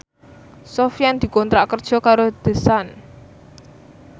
Sofyan dikontrak kerja karo The Sun